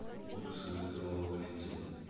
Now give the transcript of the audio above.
ужасы мой кровавый валентин